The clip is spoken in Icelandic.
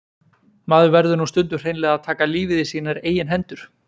Maður verður nú stundum hreinlega að taka lífið í sínar eigin hendur.